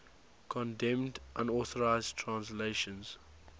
condemned unauthorized translations